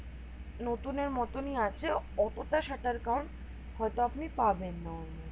নতুন এর মত নি আছে অতো টা shutter count হয়তো আপনি পাবেন না